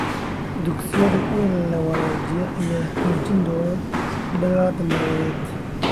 Dugsiyada la wanaajiyey ayaa xoojin doona dadaallada nabadeed .